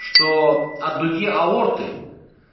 что от дуги аорты